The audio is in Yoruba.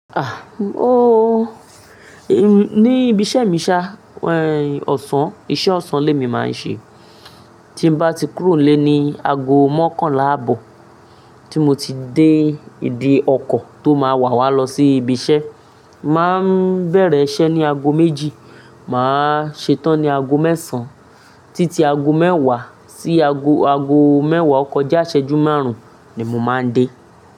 Ni ibi iṣẹ́ mi ṣá, iṣẹ́ ọ̀sán lé mi máa ń ṣe. Tí n bá ti kúrò nlé ní ago mọ́kànlá àbò, tí mo ti dé ìdí ọkọ̀ tó máa wà wá lọ sí ibi iṣẹ́. Máa bẹ̀rẹ̀ iṣẹ́ ní ago méjì, màá ṣe tán ní ago mẹ́sàn. Títí ago mẹ́wàá sí ago mẹ́wàá o ko já iṣẹjú márùn-ún ni mo máa ń dé.